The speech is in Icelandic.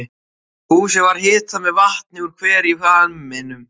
Húsið var hitað með vatni úr hver í hvamminum.